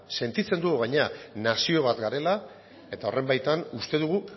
sentitzen dugu gainera nazio bat garela eta horren baitan uste dugu